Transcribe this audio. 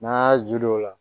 N'an y'a ju don o la